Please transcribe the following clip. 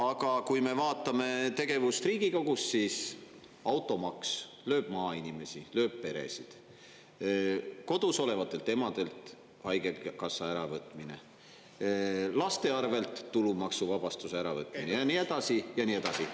Aga kui me vaatame tegevust Riigikogus, siis automaks lööb maainimesi, lööb peresid, kodus olevatelt emadelt haigekassa äravõtmine, laste arvelt tulumaksuvabastuse ära võtmine ja nii edasi ja nii edasi.